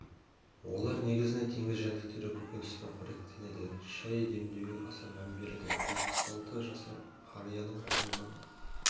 олар негізінен теңіз жәндіктері көкөніспен қоректенеді шай демдеуге аса мән береді жетпіс алты жасар қарияның қолынан